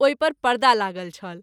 ओहि पर पर्दा लागल छल।